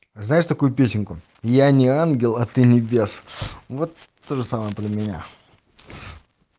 а знаешь такую песенку я не ангел а ты не бес вот тоже самое про меня